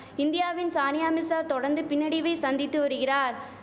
இந்தியாவின் சானியா மிசா தொடர்ந்து பின்னடைவை சந்தித்து வரிகிறார்